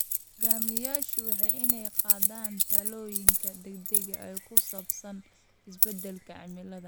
Hoggaamiyeyaashu waa inay qaadaan tallaabooyin degdeg ah oo ku saabsan isbedelka cimilada.